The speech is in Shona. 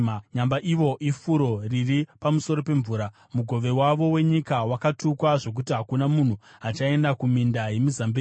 “Nyamba ivo ifuro riri pamusoro pemvura; mugove wavo wenyika wakatukwa, zvokuti hakuna munhu achaenda kuminda yemizambiringa.